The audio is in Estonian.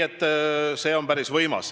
See on päris võimas.